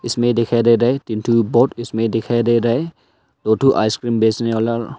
इसमें दिखाई दे रहा है तीन ठो बोट इसमें दिखाई दे रहा है दो ठो आइसक्रीम बेचने वाला।